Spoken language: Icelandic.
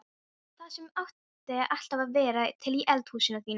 Það sem ætti alltaf að vera til í eldhúsinu þínu!